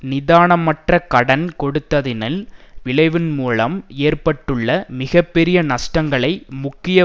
நிதானமற்ற கடன் கொடுத்ததினல் விளைவுமூலம் ஏற்பட்டுள்ள மிக பெரிய நஷ்டங்களை முக்கிய